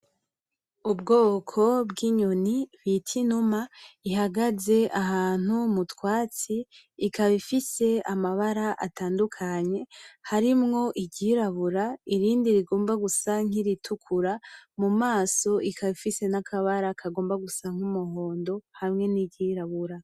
Ubwoko bw'inyoni bita inuma, ihagaze ahantu mutwatsi, ikaba ifise amabara atadukanye, harimwo iryirabura irindi rigomba gusa nk'iritukura, mumaso ikaba ifise n'akabara kagomba gusa nk'umuhondo hamwe n'iryirabura.